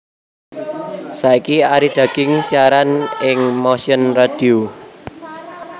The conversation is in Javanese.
Saiki Arie Dagienkz siaran ing Motion Radio